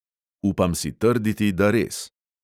"Upam si trditi, da res."